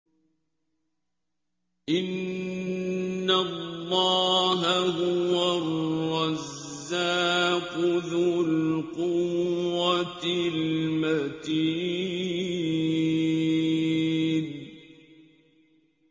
إِنَّ اللَّهَ هُوَ الرَّزَّاقُ ذُو الْقُوَّةِ الْمَتِينُ